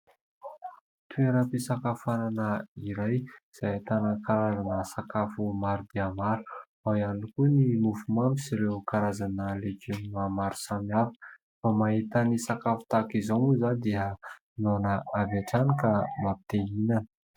Toeram-pisakafoanana iray izay ahitana-karazana sakafo maro dia maro; ao iany koa ny mofomamy sy ireo karazana legioma maro samihafa. Vao mahita ny sakafo tahaka izao moa izaho dia noana avy hatrany ka mampitehihinana.